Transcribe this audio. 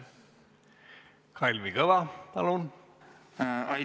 Kalvi Kõva, palun!